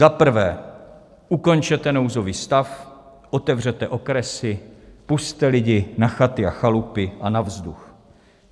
Za prvé, ukončete nouzový stav, otevřete okresy, pusťte lidi na chaty a chalupy a na vzduch.